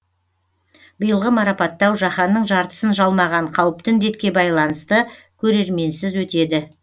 биылғы марапаттау жаһанның жартысын жалмаған қауіпті індетке байланысты көрерменсіз өтеді